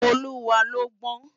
Oluwa lò gbòn